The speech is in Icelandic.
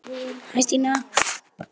Linda alein með litla kút.